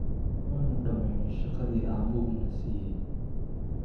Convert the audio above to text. Waanu dhamaynay shaqadii aabbuhu na siiyay